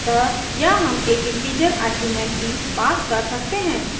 अतः यहाँ हम एक integer arguments भी pass कर सकते हैं